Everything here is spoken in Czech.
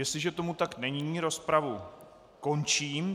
Jestliže tomu tak není, rozpravu končím.